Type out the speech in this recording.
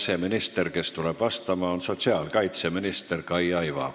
See minister, kes tuleb vastama, on sotsiaalkaitseminister Kaia Iva.